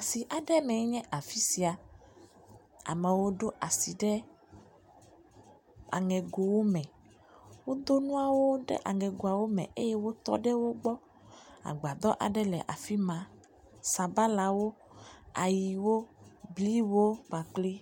Asi aɖe me enye afisia, amawo ɖo asi ɖe aŋegowo me, wo do nuawo ɖe aŋe goawo me eye wo tɔ ɖe wo gbɔ, agbadɔ aɖe le afima, sabalawo, ayiwo, bliwo kpakpli